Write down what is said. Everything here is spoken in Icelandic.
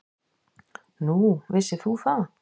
Nú, vissir þú það?